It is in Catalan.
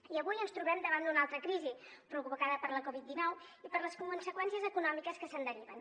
i avui ens trobem davant d’una altra crisi provocada per la covid dinou i per les conseqüències econòmiques que se’n deriven